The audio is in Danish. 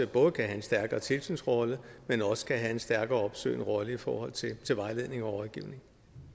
både kan have en stærkere tilsynsrolle men også kan have en stærkere opsøgende rolle i forhold til vejledning og rådgivning